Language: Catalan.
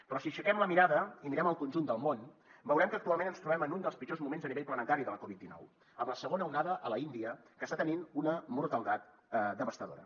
però si aixequem la mirada i mirem el conjunt del món veurem que actualment ens trobem en un dels pitjors moments a nivell planetari de la covid dinou amb la segona onada a l’índia que està tenint una mortaldat devastadora